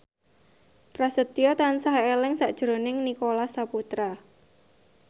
Prasetyo tansah eling sakjroning Nicholas Saputra